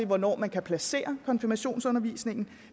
hvornår man kan placere konfirmationsundervisningen